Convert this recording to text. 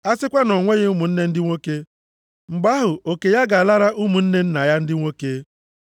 A sịkwa na o nweghị ụmụnne ndị nwoke, mgbe ahụ oke ya ga-alara ụmụnne nna ya ndị nwoke.